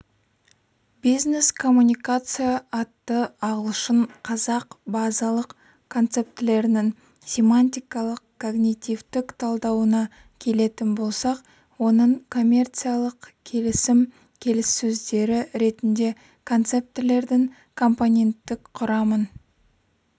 бизнес-коммуникация атты ағылшын-қазақ базалық концептілерінің семантикалық-когнитивтік талдауына келетін болсақ оның коммерциялық-келісім келіссөздері түрінде концептілердің компоненттік құрамын